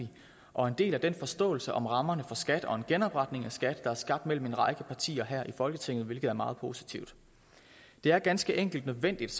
og en del af den forståelse om rammerne for skat og en genopretning af skat der er skabt mellem en række partier her i folketinget hvilket er meget positivt det er ganske enkelt nødvendigt